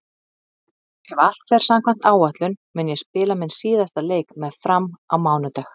Ef allt fer samkvæmt áætlun mun ég spila minn síðasta leik með Fram á mánudag.